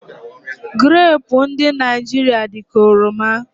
Grapu ndụ Naijiria dị ka oroma